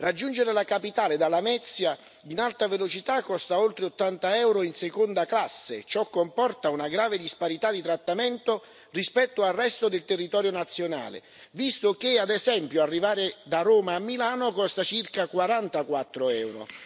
Raggiungere la capitale da Lamezia in alta velocità costa oltre 80 euro in seconda classe e ciò comporta una grave disparità di trattamento rispetto al resto del territorio nazionale visto che, ad esempio, arrivare da Roma a Milano costa circa 44 euro.